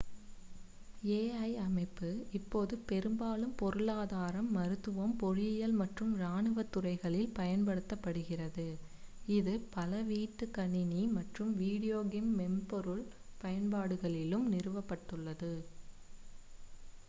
ai அமைப்பு இப்போது பெரும்பாலும் பொருளாதாரம் மருத்துவம் பொறியியல் மற்றும் இராணுவத் துறைகளில் பயன்படுத்தப்படுகிறது இது பல வீட்டு கணினி மற்றும் வீடியோ கேம் மென்பொருள் பயன்பாடுகளிலும் நிறுவப்பட்டுள்ளது